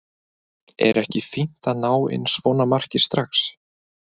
Er ekki fínt að ná inn svona marki strax?